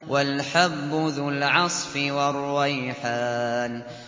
وَالْحَبُّ ذُو الْعَصْفِ وَالرَّيْحَانُ